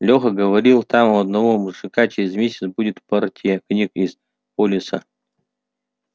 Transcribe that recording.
лёха говорит там у одного мужика через месяц будет партия книг из полиса